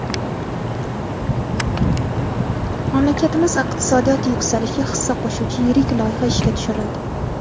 Mamlakatimiz iqtisodiyoti yuksalishiga hissa qo‘shuvchi yirik loyiha ishga tushirildi!.